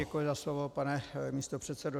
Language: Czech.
Děkuji za slovo, pane místopředsedo.